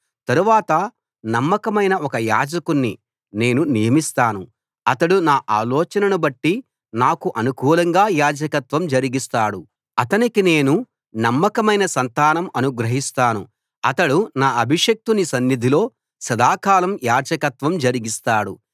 తరువాత నమ్మకమైన ఒక యాజకుణ్ణి నేను నియమిస్తాను అతడు నా ఆలోచనను బట్టి నాకు అనుకూలంగా యాజకత్వం జరిగిస్తాడు అతనికి నేను నమ్మకమైన సంతానం అనుగ్రహిస్తాను అతడు నా అభిషిక్తుని సన్నిధిలో సదాకాలం యాజకత్వం జరిగిస్తాడు